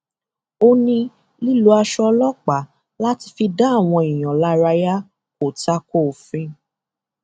ó ní lílọ aṣọ ọlọpàá láti fi dá àwọn èèyàn lárayá kò ta ko òfin